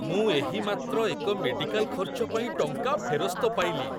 ମୁଁ ଏହିମାତ୍ର ଏକ ମେଡ଼ିକାଲ ଖର୍ଚ୍ଚ ପାଇଁ ଟଙ୍କା ଫେରସ୍ତ ପାଇଲି।